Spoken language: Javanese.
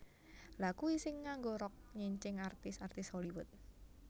Lha kui sing nganggo rok nyincing artis artis Hollywood